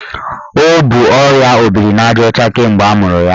O bu ọrịa obirinajaọcha kemgbe amụrụ ya.